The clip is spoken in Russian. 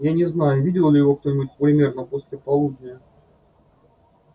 я не знаю видел ли его кто-нибудь примерно после полудня